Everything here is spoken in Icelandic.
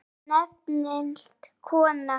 spurði nefmælt kona.